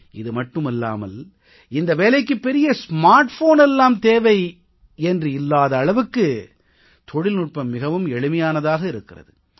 இது மட்டுமல்லாமல் இந்த வேலைக்கு பெரிய ஸ்மார்ட் போன் எல்லாம் தேவை என்றில்லாத அளவுக்கு தொழில்நுட்பம் மிகவும் எளிமையானதாக இருக்கிறது